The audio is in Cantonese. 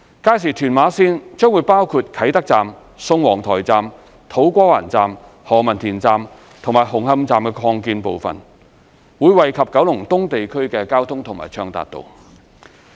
屆時屯馬綫將包括啟德站、宋皇臺站、土瓜灣站、何文田站及紅磡站擴建部分，將惠及九龍東地區的交通和暢達度。